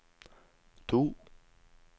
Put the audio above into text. to